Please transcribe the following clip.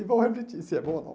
E vão repetir, se é bom ou não.